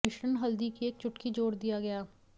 मिश्रण हल्दी की एक चुटकी जोड़ दिया गया